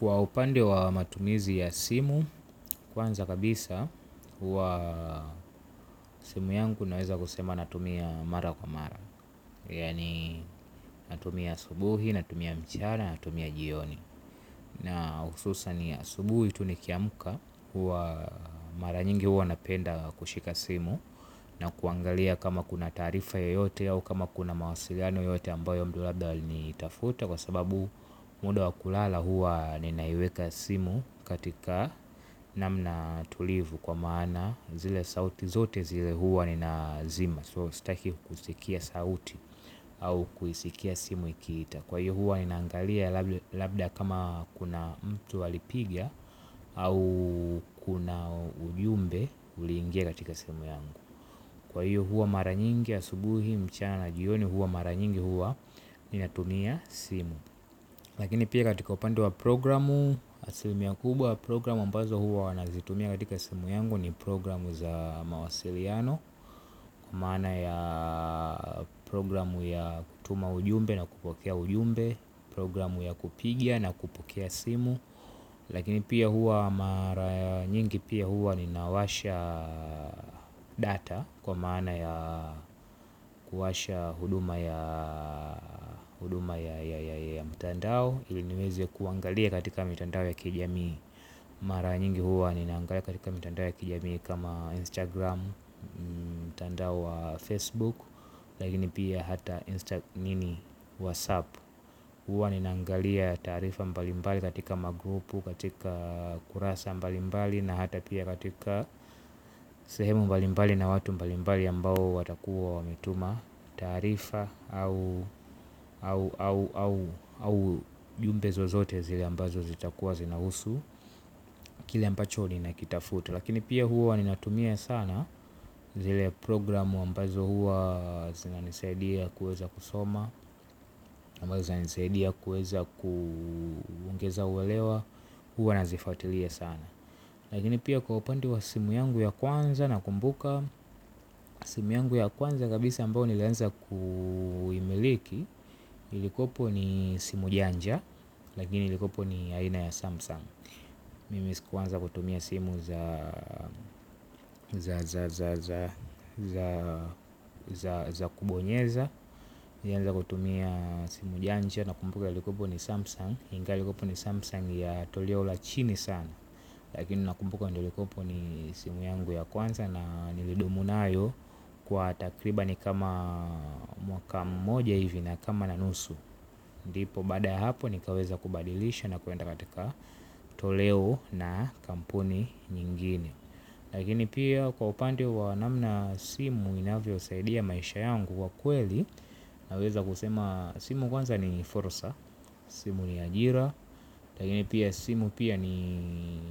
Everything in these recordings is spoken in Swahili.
Kwa upande wa matumizi ya simu, kwanza kabisa, huwa simu yangu naweza kusema natumia mara kwa mara, yaani natumia asubuhi, natumia mchana, natumia jioni. Na hususan asubuhi tu nikiamka. Huwa mara nyingi huwa napenda kushika simu. Na kuangalia kama kuna taarifa yoyote au kama kuna mawasiliano yoyote ambayo mtu labda alinitafuta. Kwa sababu muda wa kulala huwa ninaiweka simu. Katika namna tulivu kwa maana zile sauti zote zile huwa ninazima So sitaki kusikia sauti au kuisikia simu ikiita. Kwa hiyo huwa ninaangalia labda kama kuna mtu alipiga au kuna ujumbe uliingia katika simu yangu. Kwa hiyo huwa mara nyingi asubuhi mchana na jioni huwa mara nyingi huwa ninatumia simu. Lakini pia katika upande wa programu, asilimia kubwa ya programu ambazo huwa wanazitumia katika simu yangu ni programu za mawasiliano. Kwa maana ya programu ya kutuma ujumbe na kupokea ujumbe. Programu ya kupiga na kupokea simu. Lakini pia huwa mara nyingi pia huwa ninawasha data. Kwa maana ya kuwasha huduma ya mtandao ili niweze ya kuangalia katika mitandao ya kijamii. Mara nyingi huwa ninaangalia katika mitandao ya kijamii. Kama Instagram, mtandao wa Facebook. Lakini pia hata, WhatsApp. Huwa ninaangalia taarifa mbalimbali katika magrupu, katika kurasa mbalimbali na hata pia katika sehemu mbalimbali na watu mbalimbali ambao watakuwa wametuma. Taarifa au ujumbe zozote zile ambazo zitakuwa zinahusu kile ambacho ninakitafuta. Lakini pia huwa n natumia sana zile programu ambazo huwa zinanisaidia kuweza kusoma ama zinanisaidia kuweza kuongeza uelewa huwa nazifuatilia sana. Lakini pia kwa upande wa simu yangu ya kwanza nakumbuka. Simu yangu ya kwanza kabisa ambayo nilianza kuimiliki. Ilikuwepo ni simu janja. Lakini ilikuwepo ni aina ya Samsung. Mimi sikuanza kutumia simu za za kubonyeza. Nilianza kutumia simu janja na kumbuka ilikuwepo ni Samsung ingali kuwepo ni samsung ya toleo la chini sana. Lakini nakumbuka ndio ilikuwepo ni simu yangu ya kwanza na nilidumu nayo. Kwa takribani kama mwaka mmoja hivi na kama na nusu ndipo baada ya hapo nikaweza kubadilisha na kuenda katika toleo na kampuni nyingine. Lakini pia kwa upande wa namna simu inavyosaidia maisha yangu kwa kweli. Naweza kusema simu kwanza ni fursa. Simu ni ajira. Lakini pia simu pia ni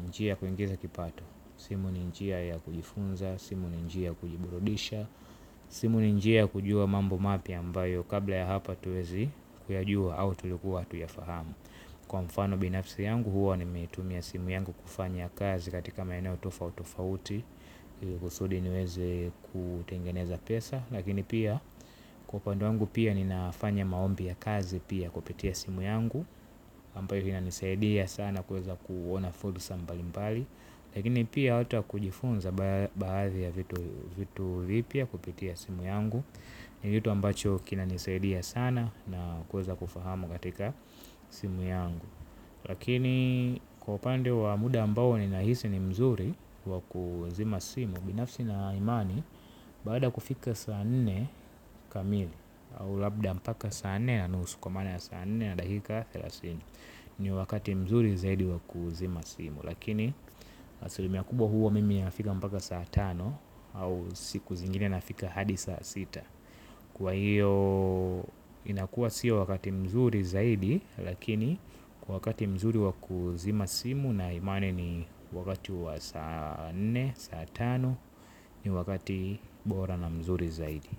njia ya kuingiza kipato. Simu ni njia ya kujifunza, simu ni njia ya kujiburudisha. Simu ni njia ya kujua mambo mapya ambayo kabla ya hapa hatuwezi kuyajua au tulikuwa hatuyafahamu. Kwa mfano binafsi yangu huwa nimeitumia simu yangu kufanya kazi katika maeneo tofauti tofauti ili kusudi niweze kutengeneza pesa. Lakini pia kwa upande wangu pia ninafanya maombi ya kazi pia kupitia simu yangu ambayo inanisaidia sana kuweza kuona fursa mbali mbali. Lakini pia hata kujifunza baadhi ya vitu vipya kupitia simu yangu. Ni kitu ambacho kinanisaidia sana na kuweza kufahamu katika simu yangu. Lakini kwa upande wa muda ambao ninahisi ni mzuri wa kuzima simu. Binafsi ninaimani baada ya kufika saa nne kamili au labda mpaka saa nne na nusu kwa maana ya saa nne na dakika thelathini ni wakati mzuri zaidi wa kuzima simu lakini asilimia kubwa huwa mimi inafika mpaka saa tano au siku zingine nafika hadi saa sita kwa hiyo inakuwa sio wakati mzuri zaidi lakini kwa wakati mzuri wa kuzima simu ninaimani ni wakati wa saa nne saa tano ni wakati bora na mzuri zaidi.